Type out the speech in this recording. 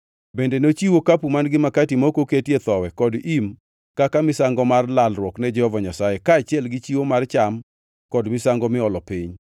Bende nochiw okapu man-gi makati ma ok oketie thowi kod im kaka misango mar lalruok ne Jehova Nyasaye, kaachiel gi chiwo mar cham kod misango miolo piny.